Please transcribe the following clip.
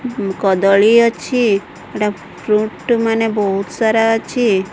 କଦଳୀ ଅଛି ଫ୍ରୁଟ୍ସ ମାନେ ବହୁତ ସାରା ଅଛି।